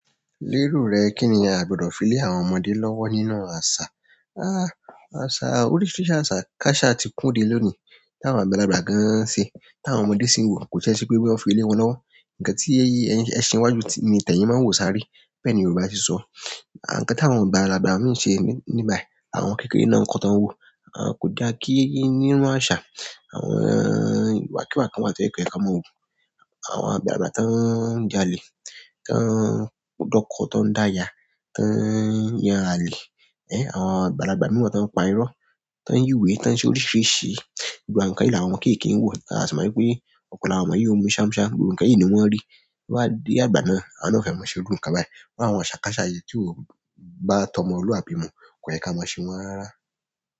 Lérò rẹ kí ni a gbọdọ̀ fi lé àwọn ọmọdé lọ́wọ́ nínú àṣà? Ah, àṣà oríṣiríṣi àṣà káṣà ti kún dé lónìí táwọn àgbàlagbà gan an ṣe táwọn ọmọdé sì ń wò. Kò tie se pé boya won fi lé wọn lọ́wọ́. Ǹkan tí ẹṣin iwájú ni teyín máa ń wò sáré. Bẹ́ẹ̀ ni Yorùbá se sọ. Ǹkan táwọn àgbàlagbà ń ṣe níbi bai, àwọn kékeré náà ń kó tan wò. Ko da ki, nínú aṣa àwọn iwàkíwà kan wáa ti ń kan wa ti ko ye ka máa wu. Àwọn àgbàlagbà tán ń jalè, tán ń dọ́kọ, tán ń dáya, tán ń yan alẹ̀. Àwọn àgbàlagbà mìí wa tan ń pa irọ́, tán ń yíwé, tán ń ṣe oríṣiríṣi ìlù. Àwọn nǹkan yìí làwọn ọmọ kékeré ń wò. A sì mọ wípé ọ̀pọ̀lo àwọn ọmọ yóò mú ṣámúṣámu. Gbogbo nkán yìí ni wọ́n rí. Boya wọ́n bá dé àgbà náà, àwọn náà o fẹ́ máa ṣe òòrùn kan báyi, iru àwọn àṣà káṣà yẹn tí ó bá tọ́moluàbí mu. Kò yẹ kí a máa ṣe wọ́n rárá.